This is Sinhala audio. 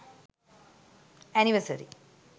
anniversary